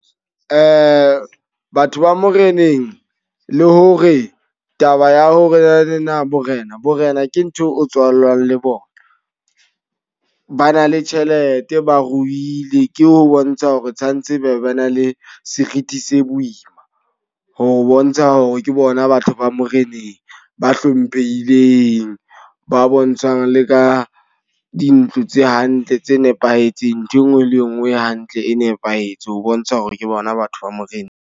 Batho ba moreneng, le hore taba ya ho re na ne na borena. Borena ke ntho o tswalwang le bona. Ba na le tjhelete, ba ruile, ke ho bontsha hore tshwanetse ba na le serithi se boima. Ho bontsha hore ke bona batho ba moreneng ba hlomphehileng. Ba bontshang le ka dintlo tse hantle tse nepahetseng. Nthwe nngwe le e nngwe e hantle, e nepahetse ho bontsha hore ke bona batho ba moreneng.